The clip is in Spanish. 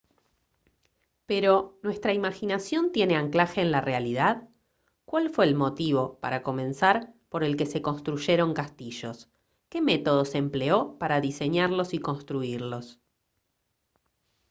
pero ¿nuestra imaginación tiene anclaje en la realidad? ¿cuál fue el motivo para comenzar por el que se construyeron castillos? ¿qué método se empleó para diseñarlos y construirlos?